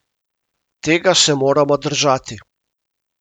Tega se moramo držati.